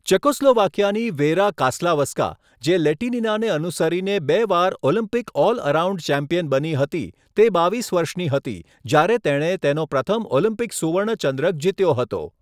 ચેકોસ્લોવાકિયાની Vera Caslavska, જે લેટિનીનાને અનુસરીને બે વાર ઓલિમ્પિક ઓલ અરાઉન્ડ ચેમ્પિયન બની હતી, તે બાવીસ વર્ષની હતી જયારે તેણે તેનો પ્રથમ ઓલમ્પિક સુવર્ણ ચંદ્રક જીત્યો હતો.